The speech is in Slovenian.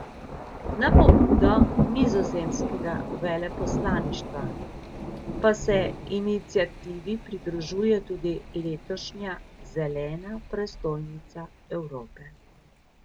Na pobudo nizozemskega veleposlaništva pa se iniciativi pridružuje tudi letošnja Zelena prestolnica Evrope.